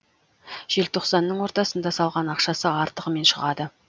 желтоқсанның ортасында салған ақшасы артығымен шығады